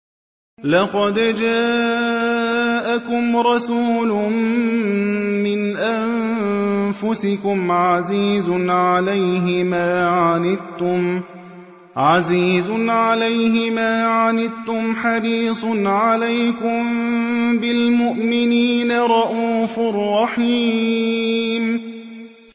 لَقَدْ جَاءَكُمْ رَسُولٌ مِّنْ أَنفُسِكُمْ عَزِيزٌ عَلَيْهِ مَا عَنِتُّمْ حَرِيصٌ عَلَيْكُم بِالْمُؤْمِنِينَ رَءُوفٌ رَّحِيمٌ